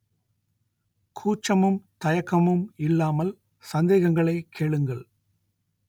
கூச்சமும் தயக்கமும் இல்லாமல் சந்தேகங்களை கேளுங்கள்